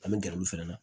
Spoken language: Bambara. An bɛ gɛrɛ olu fana na